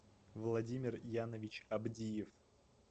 владимир янович абдиев